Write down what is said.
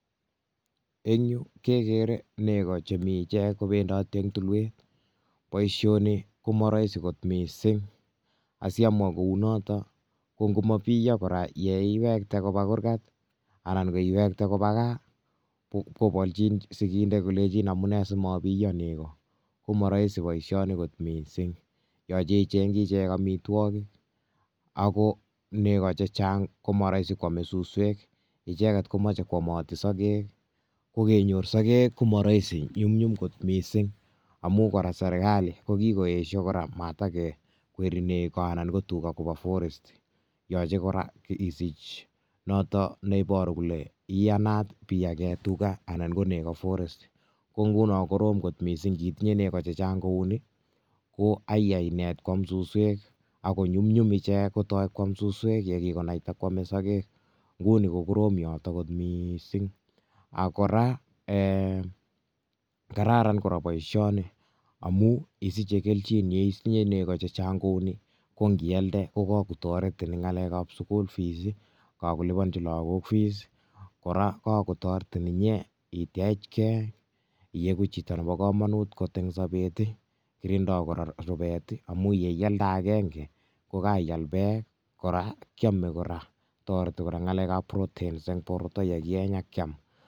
En yu kegeere negoo chemi ichek kobendotee en tulwet. Boishini komoroisi kot missing i,samwa kounotok ko ngot komabiyosoo yeiwekte kobaa kurgaat anan iwektee kobaa gaa, kobolchin sikndet kole amune simabiyosoo negoo. Komoroisi boishoni kot missing, yoche ichengchii ichek amitwogiik ako negoo chechang, kokoroisi kwome suswek icheget komoche kwomotii sogeek, kokenyor sogeek komoroisi, manyumnyum kot missing amun serkalii kokiyesho negoo anan ko tugaa kobaa forest . Yoche kora isich ile iyaanat isich yomchinet neiboruu kole chamdayaat iyaagen tugaa anan ko tugaa osnet. Ingunook ko koroom kot missing inditinye negoo chechang kounii, koyaanat koam suswek ak nyumnyum ichek koam suswek yekikonaitai kwome sogeek I nguni ko koroom yoton kot missing. Ak koraa ei kararan boishonii amun isiche kelchin yeitinye negoo chechang kouni. kongialdee ko kakotoretii en ngalekab school fees kakoliponyii logook. Kora, kakotoretiin inye itech gee iigu chito nemokomonut kot en sober. Kirindoo kora rubet i amun yon kealdee avenge kokeal beek kora kiome kora ,toretii kora ngalekab proteins en bortoo ye kieny akkiam